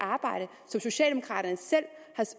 arbejde som socialdemokraterne selv